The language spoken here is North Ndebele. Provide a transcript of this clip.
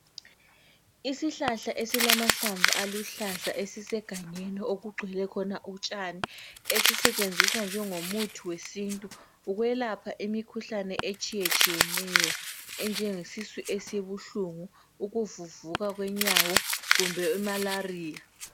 Isihlahla esilamahlamvu aluhlaza esisegangeni okugcwele khona utshani, esisetshenziswa njengomuthi wesintu ukwelapha imikhuhlane etshiyetshiyeneyo enjengesisu esibuhlungu, ukuvuvuka kwenyawo kumbe imalaria.